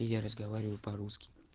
я разговариваю по-русски